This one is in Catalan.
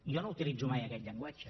jo no utilitzo mai aquest llenguatge